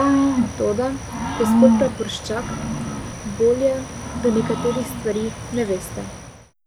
Toda, gospod praporščak, bolje, da nekaterih stvari ne veste.